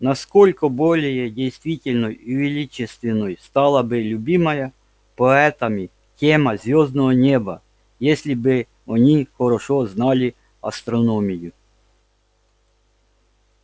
насколько более действенной и величественной стала бы любимая поэтами тема звёздного неба если бы они хорошо знали астрономию